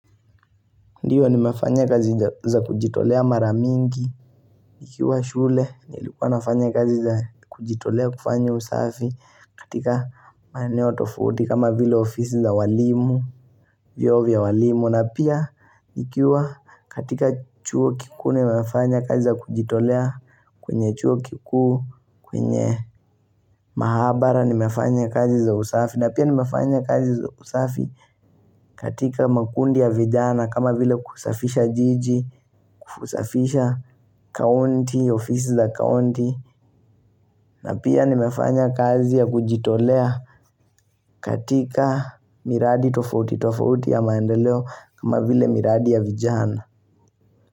Ndiwo nimefanya kazi za za kujitolea maramingi nikiwa shule nilikuwa nafanya kazi za kujitolea kufanya usafi katika maeneo tofauti fauti kama vile ofisi za walimu Vyoo vya walimu na pia nikiwa katika chuo kikuu nimefanya kazi za kujitolea kwenye chuo kikuu kwenye mahabara nimefanya kazi za usafi na pia nimefanya kazi za usafi katika makundi ya vijana kama vile kusafisha jiji usafisha kaunti, ofisi za kaunti na pia nimefanya kazi ya kujitolea katika miradi tofauti tofauti ya maendeleo kama vile miradi ya vijana.